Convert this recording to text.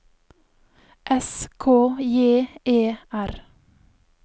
S K J E R